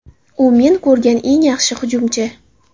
U men ko‘rgan eng yaxshi hujumchi.